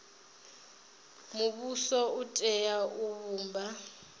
muvhuso u tea u vhumba